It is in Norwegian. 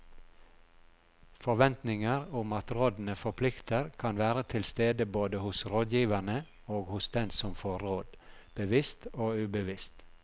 Forventninger om at rådene forplikter kan være til stede både hos rådgiverne og hos den som får råd, bevisst og ubevisst.